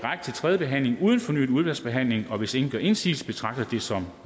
tredje behandling uden fornyet udvalgsbehandling hvis ingen gør indsigelse betragter det som